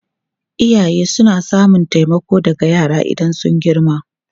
Iyaye suna samun taimako daga yara idan sun girma.